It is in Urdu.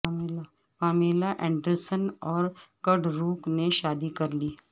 پامیلا اینڈرسن اور کڈ روک نے شادی کر لی